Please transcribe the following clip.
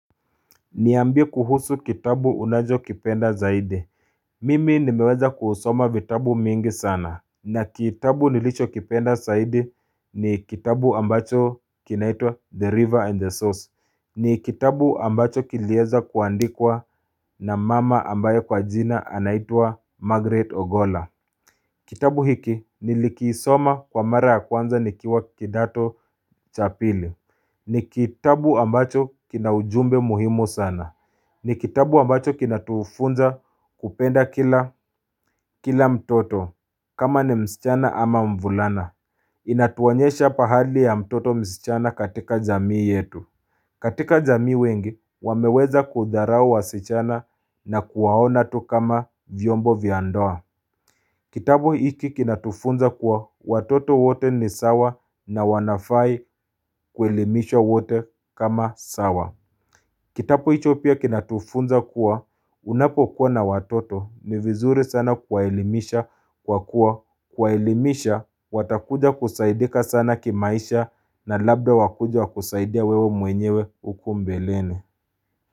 Niambi kuhusu kitabu unajo kipenda zaidi. Mimi nimeweza kuhusoma vitabu mingi sana na kitabu nilicho kipenda zaidi ni kitabu ambacho kinaitwa The River and the Source. Ni kitabu ambacho kilieza kuandikwa na mama ambaye kwa jina anaitwa Margaret Ogola. Kitabu hiki nilikisoma kwa mara ya kwanza nikiwa kidato cha pili. Ni kitabu ambacho kina ujumbe muhimo sana. Ni kitabu ambacho kina tufunza kupenda ila. Kila mtoto kama ni msichana ama mvulana. Inatuwanyesha pahali ya mtoto msichana katika jamii yetu. Katika jamii wengi, wameweza kudarao wa sichana na kuwaona tu kama vyombo viandoa. Kitapo hiki kinatufunza kuwa watoto wote ni sawa na wanafai kuelimisho wote kama sawa. Kitapo hiki kinatufunza kuwa unapokuwa na watoto ni vizuri sana kuelimisha kwa kuwa kuelimisha watakuja kusaidika sana kimaisha na labda wakujwa kusaidia wewe mwenyewe ukumbe leni.